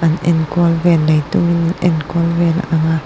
an enkual vel neitu enkawl ve a ang a.